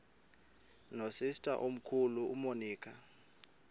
nosister omkhulu umonica